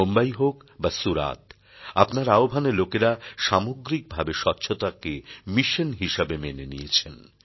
মুম্বই হোক বা সুরাত আপনার আহ্বানে লোকেরা সামগ্রিকভাবে স্বচ্ছতাকে মিশন হিসাবে মেনে নিয়েছেন